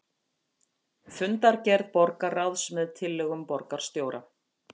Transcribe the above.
Fundargerð borgarráðs með tillögum borgarstjóra